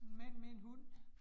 Mand med en hund